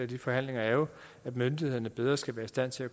de forhandlinger er jo at myndighederne bedre skal være i stand til at